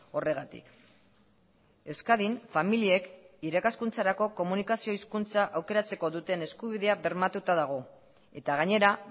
horregatik euskadin familiek irakaskuntzarako komunikazio hizkuntza aukeratzeko duten eskubidea bermatuta dago eta gainera